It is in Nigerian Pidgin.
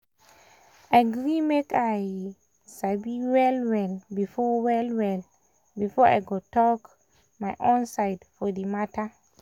i gree make i um sabi well well before well well before i go talk my um own side for di matter. um